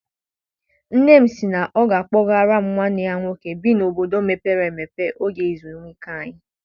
Nne m sị na ọ ga a kpọgara m nwanne ya nwoke bi n'obodo mepere emepe oge ezumike anyị.